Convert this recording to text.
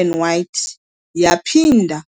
and white, waphinda wongeza ikhaka kwilogo yabo.